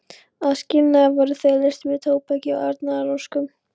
Að skilnaði voru þau leyst út með tóbaki og árnaðaróskum.